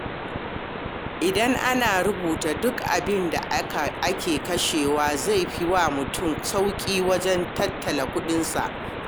Idan ana rubuta duk abin da ake kashewa, zai fi wa mutum sauƙi wajen tattala kuɗinsa.